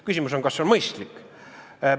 Küsimus on, kas see on mõistlik.